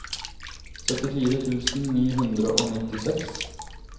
syttifire tusen ni hundre og nittiseks